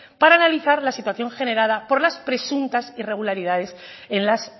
para analizar la situación generada por las presuntas irregularidades en las